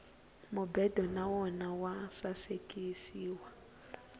mubedo na wona wa sasekisiwa